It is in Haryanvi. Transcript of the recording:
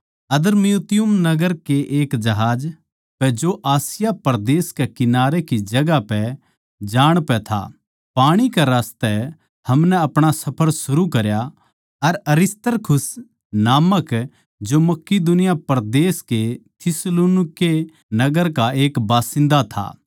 अद्र्मुत्तियुम नगर के एक जहाज पै जो आसिया परदेस कै किनारे की जगहां पै जाण पै था पाणी रास्ते हमनै अपणा सफर शुरू करया अर अरिस्तर्खुस नामक जो मकिदूनी परदेस के थिस्सलुनीके नगर का एक बसिन्दा था